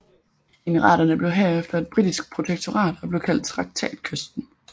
Emiraterne blev herefter et britisk protektorat og blev kaldt Traktatkysten